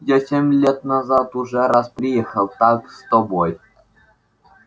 я семь лет назад уже раз приехал так с тобой